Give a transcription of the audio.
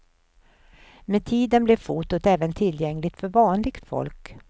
Med tiden blev fotot även tillgängligt för vanligt folk.